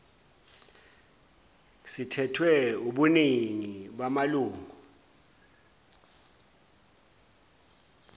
sithethwe wubuningi bamalungu